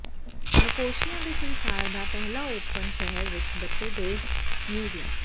Nicosia ਦੇ ਸੰਸਾਰ ਦਾ ਪਹਿਲਾ ਓਪਨ ਸ਼ਹਿਰ ਵਿਚ ਬੱਚੇ ਦੇ ਮਿਊਜ਼ੀਅਮ